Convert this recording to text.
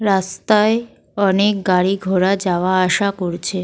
রাস্তায় অনেক গাড়ি ঘোড়া যাওয়া আসা করছে।